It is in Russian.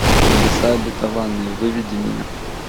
небеса обетованные выведи мне